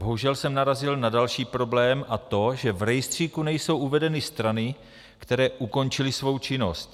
Bohužel jsem narazil na další problém, a to že v rejstříku nejsou uvedeny strany, které ukončily svou činnost.